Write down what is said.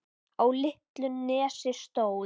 Á litlu nesi stóð